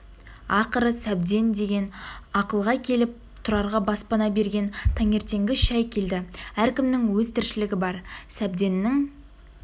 ақыры сәбден деген ақылға келіп тұрарға баспана берген таңертеңгі шәй келді әркімнің өз тіршілігі бар сәбденнің